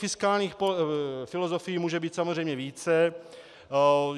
Fiskálních filozofií může být samozřejmě více.